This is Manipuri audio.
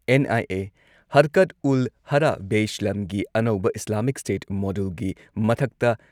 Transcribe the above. ꯑꯦꯟꯑꯥꯏꯑꯦ ꯍꯔꯀꯠꯎꯜꯍꯔꯕꯦꯏꯁꯂꯥꯝꯒꯤ ꯑꯅꯧꯕ ꯏꯁꯂꯥꯃꯤꯛ ꯏꯁꯇꯦꯠ ꯃꯣꯗ꯭ꯌꯨꯜꯒꯤ ꯃꯊꯛꯇ